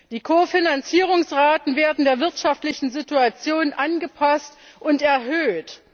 Die Kofinanzierungsraten werden der wirtschaftlichen Situation angepasst und erhöht.